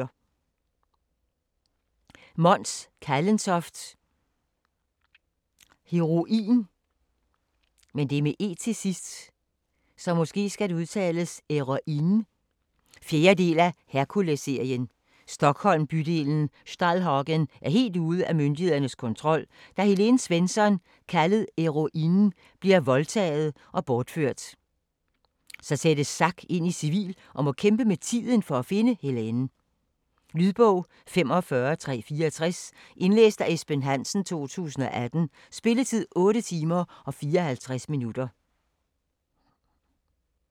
Kallentoft, Mons: Heroine 4. del af Herkulesserien. Stockholm-bydelen Stallhagen er helt ude af myndighedernes kontrol, og da Helene Svensson, kaldet Heroine, bliver voldtaget og bortført, sættes Zack ind i civil og må kæmpe med tiden for at finde Helene. Lydbog 45364 Indlæst af Esben Hansen, 2018. Spilletid: 8 timer, 54 minutter.